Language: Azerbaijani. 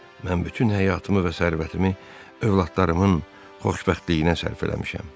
Mən bütün həyatımı və sərvətimi övladlarımın xoşbəxtliyinə sərf eləmişəm.